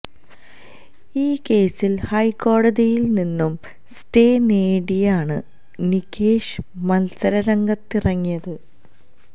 ഈ കേസിൽ ഹൈക്കോടതിയിൽ നിന്നും സ്റ്റേ നേടിയാണ് നികേഷ് മത്സര രംഗത്തിറങ്ങിയത്